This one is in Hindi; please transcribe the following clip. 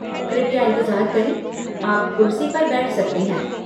कृपया इंतज़ार करें, आप कुर्सी पर बैठ सकते हैं।